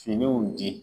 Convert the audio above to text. Finiw di